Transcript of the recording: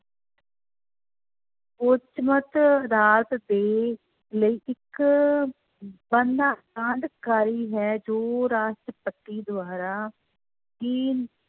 ਉੱਚਮਤ ਅਦਾਲਤ ਤੇ ਲਈ ਇੱਕ ਬਣਨਾ ਕਾਰੀ ਹੈ ਜੋ ਰਾਸ਼ਟਰਪਤੀ ਦੁਆਰਾ ਹੀ